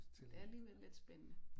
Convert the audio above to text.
Det er alligevel lidt spændende